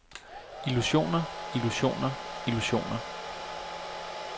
illusioner illusioner illusioner